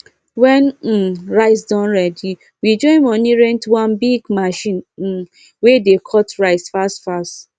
when um rice don ready we join money rent one big machine um wey dey cut rice fast fast